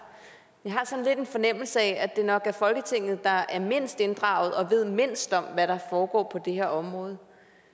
med har sådan lidt en fornemmelse af at det nok er folketinget der er mindst inddraget og ved mindst om hvad der foregår på det her område